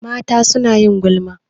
Mata suna yin gulma.